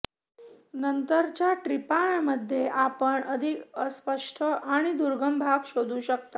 नंतरच्या ट्रिपांमध्ये आपण अधिक अस्पष्ट आणि दुर्गम भाग शोधू शकता